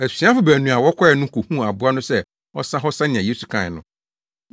Asuafo baanu a wɔkɔe no kohuu aboa no sɛ ɔsa hɔ sɛnea Yesu kae no.